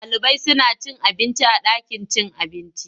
Ɗalibai suna cin abinci a ɗakin cin abinci.